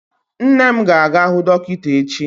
Nne m ga-aga hụ dọkịta echi.